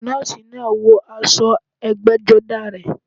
Nọ́ọ̀sì náà wọ aṣọ ẹgbẹ́jọdá rẹ̀